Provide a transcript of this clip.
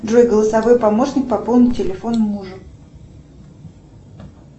джой голосовой помощник пополни телефон мужу